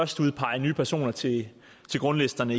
skal udpege nye personer til grundlisterne